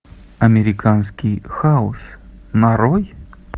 американский хаос нарой